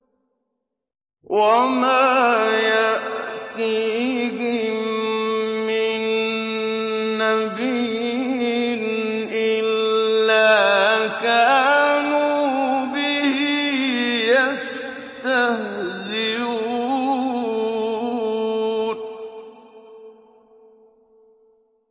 وَمَا يَأْتِيهِم مِّن نَّبِيٍّ إِلَّا كَانُوا بِهِ يَسْتَهْزِئُونَ